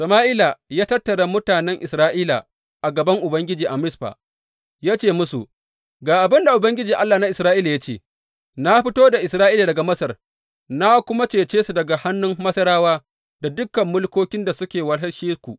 Sama’ila ta tattara mutanen Isra’ila a gaban Ubangiji a Mizfa ya ce musu, Ga abin da Ubangiji, Allah na Isra’ila ya ce, Na fito da Isra’ila daga Masar, na kuma cece ku daga hannun Masarawa da dukan mulkokin da suka wahalshe ku.’